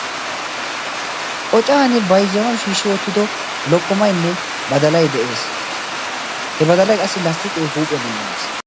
qocan bayzzanau shiishshi oottido lokkomaynne badala de'ees. he badalay qassi lasttiqee huuphiyaa bollan de'ees.